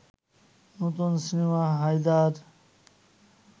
নতুন সিনেমা হায়দার